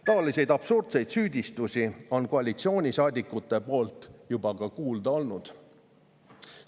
Taolisi absurdseid süüdistusi on koalitsioonisaadikutelt juba kuulda olnud.